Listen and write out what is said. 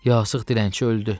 Yasığ dilənçi öldü.